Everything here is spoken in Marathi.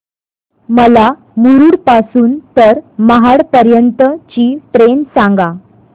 मला मुरुड पासून तर महाड पर्यंत ची ट्रेन सांगा